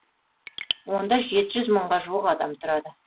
онда жеті жүз мыңға жуық адам тұрады